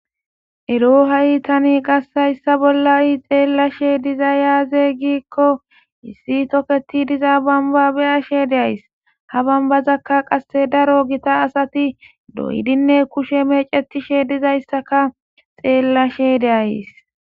Ero ha'i tani qassayssa bolla'i xeellashe diza yaaze giikko issi toketi diza bambabe ashe deays ha bambazakka qasse daro gita asati doydinne kushe mecetishe dizayssaka xeellashe deays.